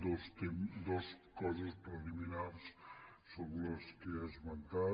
dues coses preliminars sobre les que ha esmentat